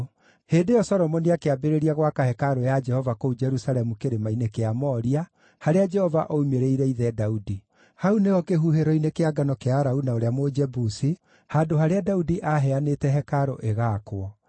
Hĩndĩ ĩyo Solomoni akĩambĩrĩria gwaka hekarũ ya Jehova kũu Jerusalemu Kĩrĩma-inĩ kĩa Moria, harĩa Jehova oimĩrĩire ithe Daudi. Hau nĩho kĩhuhĩro-inĩ kĩa ngano kĩa Arauna ũrĩa Mũjebusi, handũ harĩa Daudi aaheanĩte hekarũ ĩgaakwo.